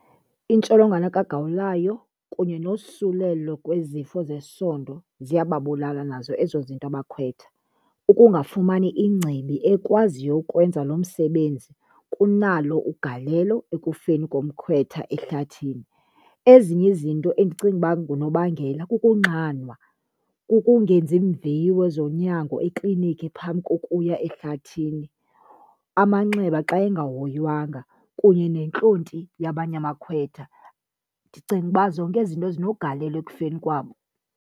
Intsholongwane kagawulayo kunye nosulelo kwezifo zesondo ziyababulala nazo ezo zinto abakhwetha. Ukungafumani ingcibi ekwaziyo ukwenza lo msebenzi kunalo ugalelo ekufeni komkhwetha ehlathini. Ezinye izinto endicinga uba ngunobangela kukunxanwa, kukungenzi iimviwo ezonyango eklinikhi phambi kokuya ehlathini, amanxeba xa engahoywanga kunye nentlonti yabanye abakhwetha. Ndicinga uba zonke ezi zinto zinegalelo ekufeni kwabo.